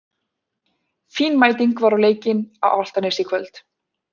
Fín mæting var á leikinn á Álftanesi í kvöld.